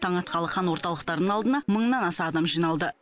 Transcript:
таң атқалы қан орталықтарының алдына мыңнан аса адам жиналды